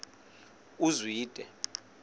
uzwide